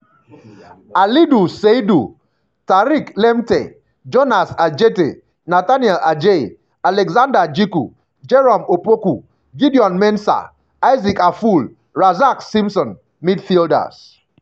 alidu seidu tariq lamptey jonas adjetey nathaniel adjei alexander djiku jerome opoku gideon mensah isaac afful razak simpson midfielders-